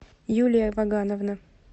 юлия вагановна